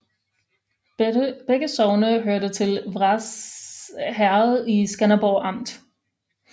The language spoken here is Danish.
Begge sogne hørte til Vrads Herred i Skanderborg Amt